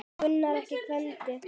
Grunaði ekki Gvend.